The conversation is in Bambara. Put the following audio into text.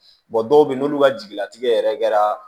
dɔw bɛ yen n'olu ka jiginɛtigɛ yɛrɛ kɛra